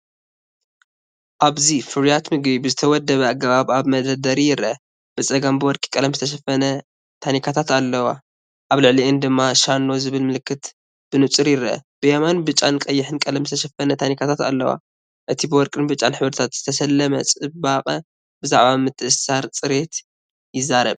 ኣብዚ ፍርያት ምግቢ ብዝተወደበ ኣገባብ ኣብ መደርደሪ ይረአ። ብጸጋም ብወርቂ ቀለም ዝተሸፈና ታኒካታት ኣለዋ፣ ኣብ ልዕሊአን ድማ “ሸኖ”ዝብል ምልክት ብንጹር ይርአ። ብየማን ብጫን ቀይሕን ቀለም ዝተሸፈና ታኒካታት ኣለዋ። እቲ ብወርቅን ብጫን ሕብርታት ዝተሰለመ ጽባቐ ብዛዕባ ምትእስሳር ጽሬት ይዛረብ።